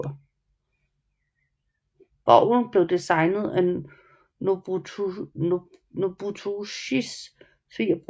Borgen blev designet af Nobutoshis svigerbror